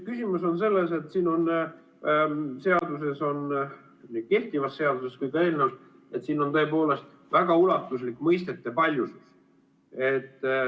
Küsimus on selles, et siin seaduses, nii kehtivas seaduses kui ka eelnõus, on tõepoolest väga ulatuslik mõistete paljusus.